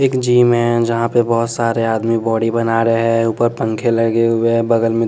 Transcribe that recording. एक जिम है जहाँ पे बहुत सारे आदमी बॉडी बना रहे हैं ऊपर पंखे लगे हुए हैं बगल में--